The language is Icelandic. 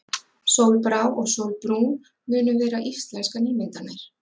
Sólbrá og Sólbrún munu vera íslenskar nýmyndanir.